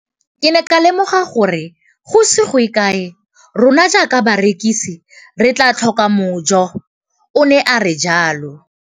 Ke ne ka lemoga gore go ise go ye kae rona jaaka barekise re tla tlhoka mojo, o ne a re jalo.